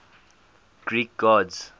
greek gods